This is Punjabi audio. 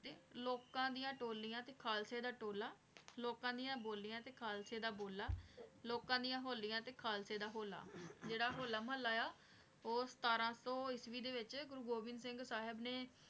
ਲੋਕਾਂ ਦਿਯਾ ਟੋਲਿਯਾਂ ਤੇ ਖਾਲਸੇ ਦਾ ਟੋਲਾ ਲੋਕਾਂ ਡਿਯਨ ਬੋਲਿਯਾੰ ਤੇ ਖਾਲਸੇ ਦਾ ਬੋਲਾ ਲੋਕਾਂ ਡਿਯਨ ਹੋਲਿਯਾਂ ਤੇ ਖਾਲਸੇ ਦਾ ਹੋਲਾ ਜੇਰਾ ਹੋਲਾ ਮਹਲਾ ਆਯ ਆ ਊ ਸਤਰਾਂ ਸੂ ਏਕੀ ਦੇ ਵਿਚ ਗੁਰੂ ਗੋਵਿੰਦ ਸਿੰਘ ਸਾਹਿਬ ਨੇ